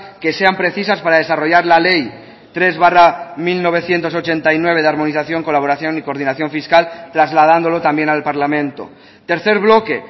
que sean precisas para desarrollar la ley tres barra mil novecientos ochenta y nueve de armonización colaboración y coordinación fiscal trasladándolo también al parlamento tercer bloque